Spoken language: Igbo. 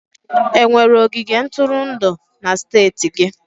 Enwere ogige ntụrụndụ na steeti gị?